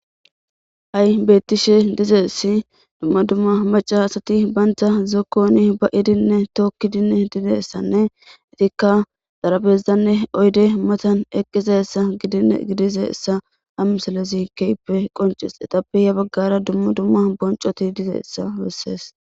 Ha7i beettishe dizeessi dumma dumma macca asati bantta zokkoni ba'idinne tookkidinne dizayssanne etikka darabezanne oyde matan eqqizeyssa gidi gidizayssa ha miselezi keehipe qoncis. exapiya baggara dumma dumma bonccoti dizeayssa bessees.